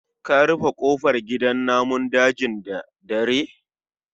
Ka rufe kofar gidan namun dajin da dare